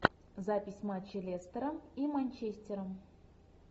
запись матча лестера и манчестера